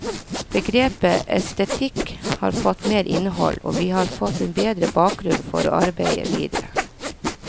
Begrepet estetikk har fått mer innhold, og vi har fått en bedre bakgrunn for å arbeide videre.